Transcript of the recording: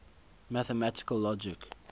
mathematical logic